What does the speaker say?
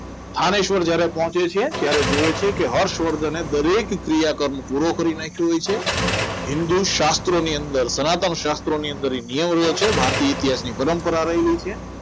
થાનેશ્વર જ્યારે પહોંચે છે ત્યારે જુઓ છે કે હર્ષવર્ધન દરેક ક્રિયા ક્રમ પૂરો કરી નાખ્યો હોય છે હિન્દુ શાસ્ત્રોની અંદર સનાતન શાસ્ત્રોની અંદર નિયમો હોય છે ભારતીય ઇતિહાસની પરંપરા રહેલી હોય છે